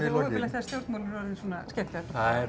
óheppilegt þegar stjórnmál eru orðin svona skemmtiefni